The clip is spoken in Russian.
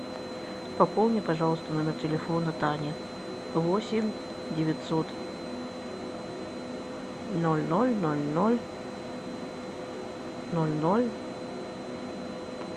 пополни пожалуйста номер телефона тани восемь девятьсот ноль ноль ноль ноль ноль ноль